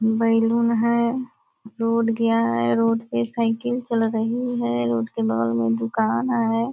Balloon है road गया है रोड पे साइकिल चल रही है रोड के बगल में दुकान है।